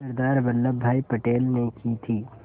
सरदार वल्लभ भाई पटेल ने की थी